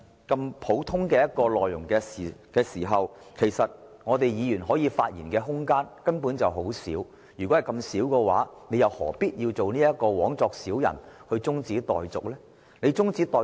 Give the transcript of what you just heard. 既然"察悉議案"的內容如此簡單和普通，議員可以發言的空間根本很少，他又何必枉作小人動議將辯論中止待續？